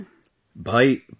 Namaste sir ji |